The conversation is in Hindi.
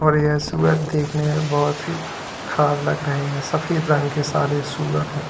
और यह सूअर देखने में बहुत ही खराब लग रहे हैं सफेद रंग के सारे सूअर हैं।